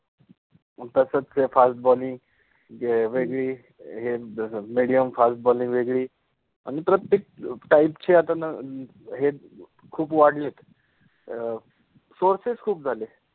मंग तस ते FAST BOLLING, ते वेगळि हे, medium fast bowling type medium {medium} fast {fast} bowling {bolling} वेगळि, प्रत्येक टाइप {type} चे आता न हेखूप वाढले आहेत अ सोर्सेस {sources} खुप झालेत